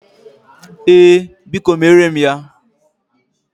Ee, Biko mere m ya.